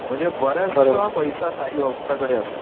म्हणजे बराचसा पैसा साईभक्तांकडे असतो.